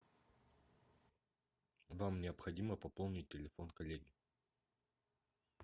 вам необходимо пополнить телефон коллеги